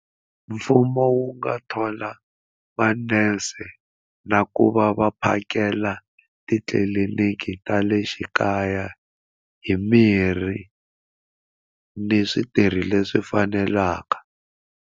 Mfumo wu nga thola manese na ku va va phakela titliliniki ta le xikaya hi mirhi ni switirhi leswi fanelaka.